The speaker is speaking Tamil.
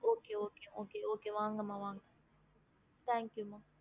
ஹம்